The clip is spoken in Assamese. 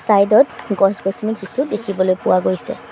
চাইড ত গছ-গছনি কিছু দেখিবলৈ পোৱা গৈছে।